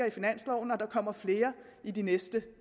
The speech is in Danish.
i finansloven og der kommer flere i de næste